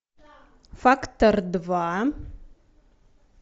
фактор два